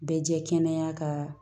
Bɛɛ jɛ kɛnɛya ka